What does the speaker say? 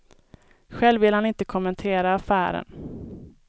Själv vill han inte kommentera affären.